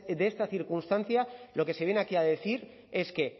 de esta circunstancia lo que se viene aquí a decir es que